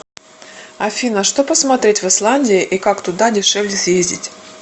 афина что посмотреть в исландии и как туда дешевле съездить